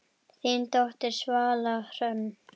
Þín dóttir, Svala Hrönn.